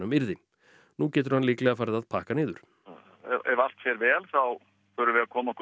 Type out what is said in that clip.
yrði nú getur hann líklega farið að pakka niður ef allt fer vel þá förum við að koma okkur